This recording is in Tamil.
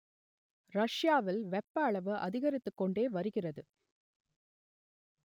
ரஷ்யாவில் வெப்ப அளவு அதிகரித்துக் கொண்டே வருகிறது